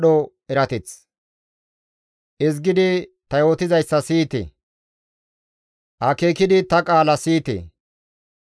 Ezgidi ta yootizayssa siyite; akeekidi ta qaala siyite.